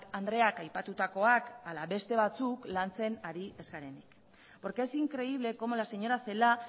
andreak aipatutakoak ala beste batzuk lantzek ari ez garenik porque es increíble como la señora celaá